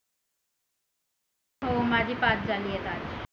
हो माझे पाच झाले आहेत आज